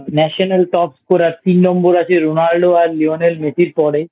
National Top Scorer তিন নম্বর আছে Ronaldo আর Lionel Messi র পরে